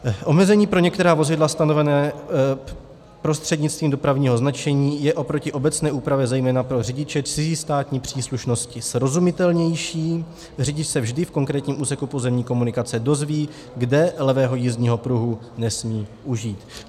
Omezení pro některá vozidla stanovená prostřednictvím dopravního značení je oproti obecné úpravě zejména pro řidiče cizí státní příslušnosti srozumitelnější, řidič se vždy v konkrétním úseku pozemní komunikace dozví, kde levého jízdního pruhu nesmí užít.